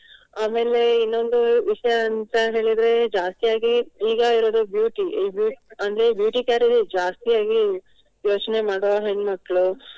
ಆಮೇಲೆ ಇನ್ನೊಂದು ವಿಷಯ ಅಂತ ಹೇಳಿದ್ರೆ ಜಾಸ್ತಿಯಾಗಿ ಈಗ ಇರುವುದು beauty ಈ beau~ ಅಂದ್ರೆ beauty care ನೇ ಜಾಸ್ತಿ ಆಗಿ ಯೋಚ್ನೆ ಮಾಡುವ ಹೆಣ್ಮಕ್ಳು.